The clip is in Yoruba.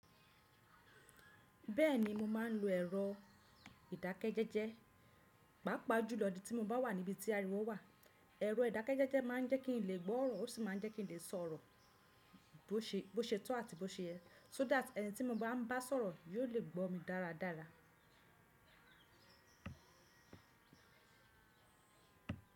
Bẹ́ẹ̀ni mo máà ń lo ẹ̀rọ ìdákẹ́jẹ́jẹ́, pàápàá jùlọ tí mo bá wà níbi tí ariwo wà. Ẹ̀rọ ìdákẹ́jẹ́jẹ́ máa ń jẹ́ kí n lè gbọ́ ọ̀rọ̀ ó sì máa ń jẹ́ kí n lè sọ̀rọ̀ bó ṣe tọ́ àti bó ṣe ẹ́, so that ẹni tí mo bá ń bá sọ̀rọ̀ yóò lè gbọ́ mi dáradára.